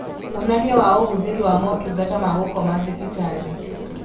Wonania wa ũhũthĩri wa motungata ma gũkoma thibitarĩ